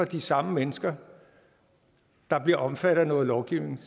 de samme mennesker der bliver omfattet af noget lovgivning